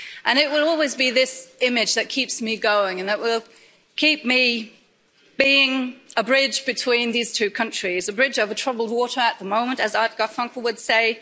It will always be this image that keeps me going and that will keep me being a bridge between these two countries, a bridge over troubled water' at the moment, as Art Garfunkel would